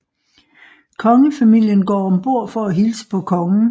Kongefamilien går ombord for at hilse på kongen